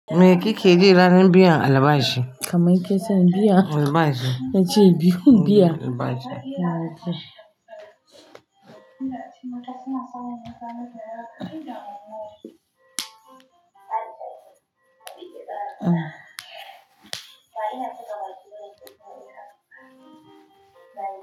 Meki keka yi ranar biyar albashi. Kamai ke san biya? Albashi. Yace biyu, biya. Albashi.